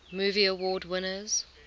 movie award winners